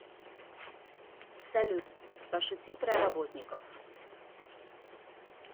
салют пошути про работников